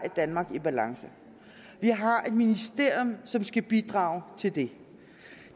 et danmark i balance vi har et ministerium som skal bidrage til det